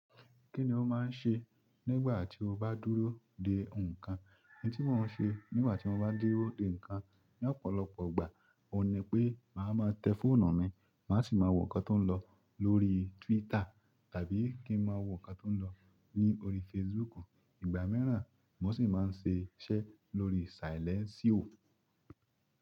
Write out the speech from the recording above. Kí ni o máa ń ṣe nígbà tí o bá dúró de nǹkan? N tí mo ń ṣe nígbà tí mo bá dúró de ǹnkan ní ọ̀pọ̀lọpọ̀ ọgbà, ò ní pé màá máa tẹ fóònù mi, màá sì máa wo nǹkan tó ń lọ lórí Twitter tàbí kí ń máa wo nǹkan tó ń lọ ní orí Facebook. Ìgbà mìíràn, mo sì máa ń ṣe iṣẹ́ lórí saìlẹ́nsìò.